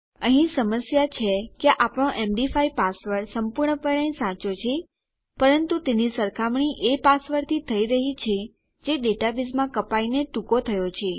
અહીં સમસ્યા છે કે આપણો એમડી5 પાસવર્ડ સંપૂર્ણપણે સાચો છે પરંતુ તેની સરખામણી એ પાસવર્ડથી થઇ રહ્યી છે જે ડેટાબેઝમાં કપાઈને ટૂંકો થયો છે